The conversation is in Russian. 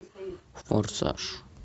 форсаж